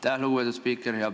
Lugupeetud spiiker!